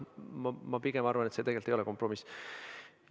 Ma pigem arvan, et see ei ole kompromiss.